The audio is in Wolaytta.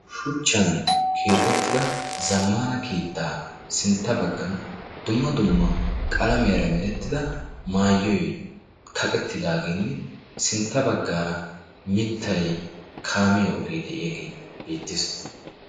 Shuchchan keexettida zammana kiittaa sintta baggan dumma dumma qalamiyaara merettida maayyoy kaqettidaageenne sintta baggaara mittai kaamiya ogee de'iyaagee beettees.